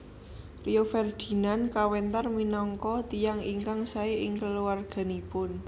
Rio Ferdinand kawentar minangka tiyang ingkang sae ing kulawarganipun